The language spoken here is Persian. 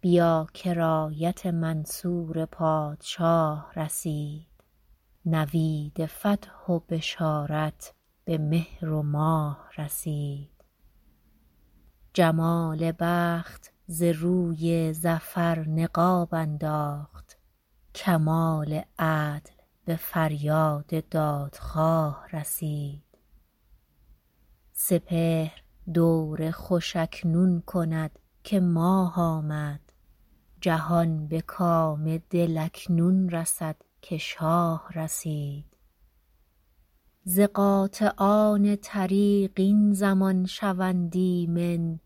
بیا که رایت منصور پادشاه رسید نوید فتح و بشارت به مهر و ماه رسید جمال بخت ز روی ظفر نقاب انداخت کمال عدل به فریاد دادخواه رسید سپهر دور خوش اکنون کند که ماه آمد جهان به کام دل اکنون رسد که شاه رسید ز قاطعان طریق این زمان شوند ایمن